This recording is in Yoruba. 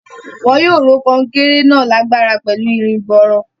Wọn yóò ró kan-un-kéré náà lágbára pẹ̀lú irin gbọọrọ.